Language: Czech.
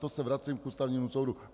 To se vracím k Ústavnímu soudu.